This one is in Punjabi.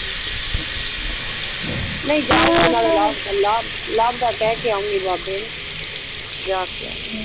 ਨਹੀਂ ਜਾਉਨਗੀ ਨਾਲੇ ਲਵ ਦਾ ਲਵ ਦਾ ਲਵ ਦਾ ਕਿਹ ਕੇ ਆਊਨਗੀ ਬਾਬੇ ਨੂੰ ਜਾ ਕੇ ਆਊਨਗੀ